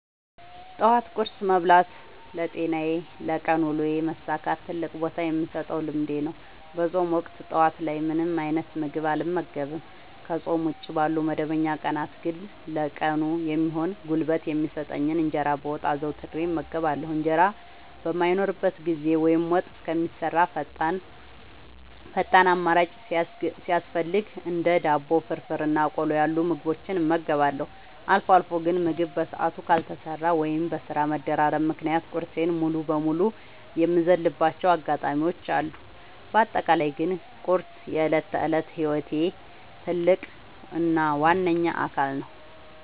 ጠዋት ቁርስ መብላት ለጤናዬና ለቀን ውሎዬ መሳካት ትልቅ ቦታ የምሰጠው ልምዴ ነው። በፆም ወቅት ጠዋት ላይ ምንም አይነት ምግብ አልመገብም። ከፆም ውጪ ባሉ መደበኛ ቀናት ግን ለቀኑ የሚሆን ጉልበት የሚሰጠኝን እንጀራ በወጥ አዘውትሬ እመገባለሁ። እንጀራ በማይኖርበት ጊዜ ወይም ወጥ እስከሚሰራ ፈጣን አማራጭ ሲያስፈልገኝ እንደ ዳቦ፣ ፍርፍር እና ቆሎ ያሉ ምግቦችን እመገባለሁ። አልፎ አልፎ ግን ምግብ በሰዓቱ ካልተሰራ ወይም በስራ መደራረብ ምክንያት ቁርሴን ሙሉ በሙሉ የምዘልባቸው አጋጣሚዎች አሉ። በአጠቃላይ ግን ቁርስ የዕለት ተዕለት ህይወቴ ትልቅ እና ዋነኛ አካል ነው።